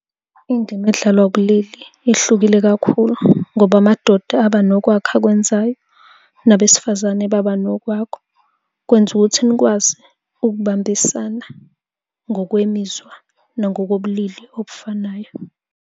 Indima edlalwa ubulili ihlukile kakhulu ngoba amadoda aba nokwakhe akwenzayo, nabesifazane baba nokwakho. Kwenza ukuthi nikwazi ukubambisana ngokwemizwa nangokobulili obufanayo.